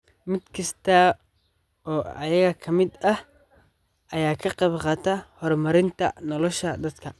Mid kasta oo iyaga ka mid ah ayaa ka qaybqaata horumarinta nolosha dadka.